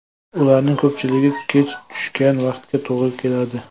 Ularning ko‘pchiligi kech tushgan vaqtga to‘g‘ri keladi.